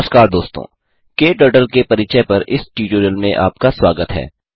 नमस्कार दोस्तों क्टर्टल के परिचय पर इस ट्यूटोरियल में आपका स्वागत है